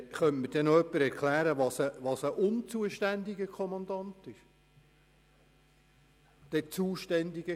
hier steht, es sei «dem zuständigen Polizeikommandanten» Meldung zu erstatten.